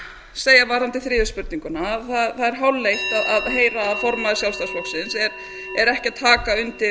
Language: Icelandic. segja varðandi þriðju spurninguna að það er hálfleitt að heyra að formaður sjálfstæðisflokksins er ekki að taka undir